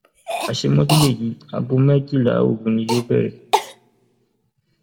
àṣemọjú lèyí aago méjìlá òru ni yóò bẹrẹ